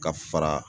Ka fara